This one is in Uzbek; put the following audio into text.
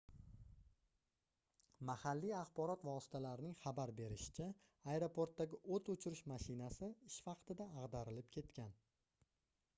mahalliy axborot vositalarining xabar berishicha aeroportdagi oʻt oʻchirish mashinasi ish vaqtida agʻdarilib ketgan